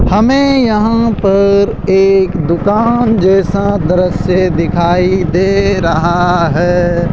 हमें यहां पर एक दुकान जैसा दृश्य दिखाई दे रहा है।